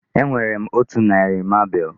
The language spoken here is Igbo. Enwere m otu narị marble.